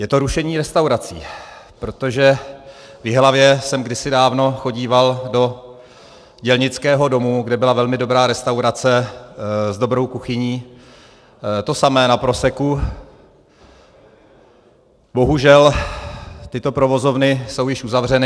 Je to rušení restaurací, protože v Jihlavě jsem kdysi dávno chodíval do Dělnického domu, kde byla velmi dobrá restaurace s dobrou kuchyní, to samé na Proseku, bohužel tyto provozovny jsou již uzavřeny.